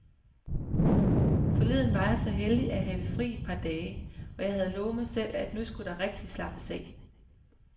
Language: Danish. Forleden var jeg så heldig at have fri et par dage, og jeg havde lovet mig selv, at nu skulle der rigtig slappes af.